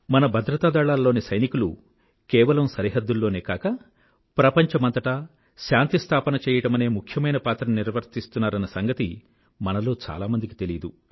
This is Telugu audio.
మన భద్రతా దళాలలోని సైనికులు కేవలం సరిహద్దుల్లోనే కాక ప్రపంచమంతటా శాంతి స్థాపన చెయ్యడమనే ముఖ్యమైన పాత్రని నిర్వర్తిస్తున్నారన్న సంగతి మనలో చాలామందికి తెలీదు